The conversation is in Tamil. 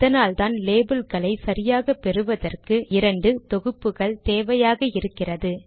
அதனால்தான் லேபில்களை சரியாக பெறுவதற்கு இரண்டு தொகுப்புகள் தேவையாக இருக்கிறது